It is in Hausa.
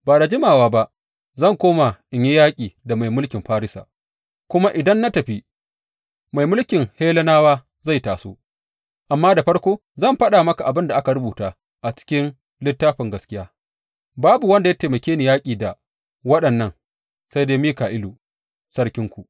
Ba da jimawa ba zan koma in yi yaƙi da mai mulkin Farisa, kuma idan na tafi, mai mulkin Hellenawa zai taso; amma da farko zan faɗa maka abin da aka rubuta a cikin Littafin Gaskiya Babu wanda ya taimake ni yaƙi da waɗannan sai dai Mika’ilu, sarkinku.